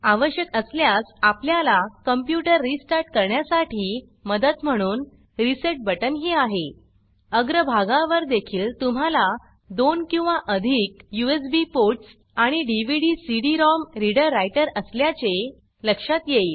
आवश्यक असल्यास आपल्याला कॉम्प्यूटर रीस्टार्ट करण्यासाठी मदत म्हणून रिसेट बटन ही आहे अग्र भागावर देखील तुम्हाला 2 किंवा अधिक यूएसबी पोर्टस् आणि dvdcd रोम रीडर रायटर असल्याचे लक्षात येईल